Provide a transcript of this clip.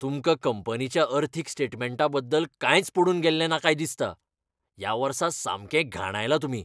तुमकां कंपनीच्या अर्थीक स्टेटमँटा बद्दल कांयच पडून गेल्लें ना काय दिसता. ह्या वर्सा सामकें घाणायलां तुमी.